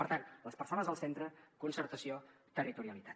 per tant les persones al centre concertació territorialitat